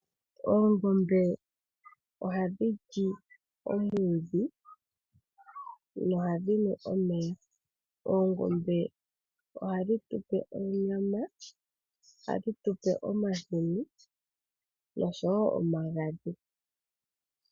Oongombe ohadhi li omwiidhi nohadhi nu omeya. Oongombe ohadhi tu pe onyama. Ohadhi tu pe omahini noshowo omagadhi.